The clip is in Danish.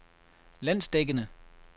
landsdækkende